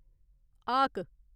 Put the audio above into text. हाक